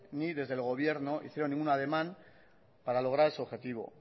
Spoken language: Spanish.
ni desde el gobierno hicieron ningún ademán para lograr ese objetivo